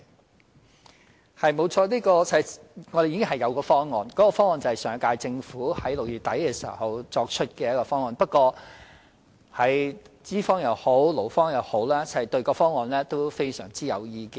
就此，我們確實已有一項方案，就是上屆政府在6月底提出的方案，但不論是資方或勞方也對方案非常有意見。